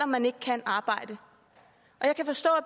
man ikke kan arbejde